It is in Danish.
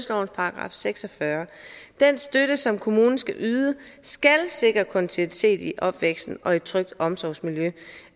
§ seks og fyrre den støtte som kommunen skal yde skal sikre kontinuitet i opvæksten og et trygt omsorgsmiljø